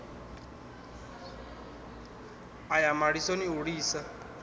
a ya malisoni u lisa